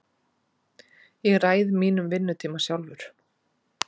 Ég ræð mínum vinnutíma sjálfur.